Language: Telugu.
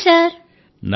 నమస్తే సార్